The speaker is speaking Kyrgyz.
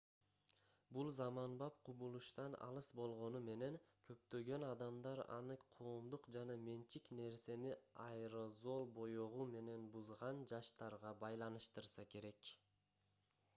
бул заманбап кубулуштан алыс болгону менен көптөгөн адамдар аны коомдук жана менчик нерсени аэрозол боёгу менен бузган жаштарга байланыштырса керек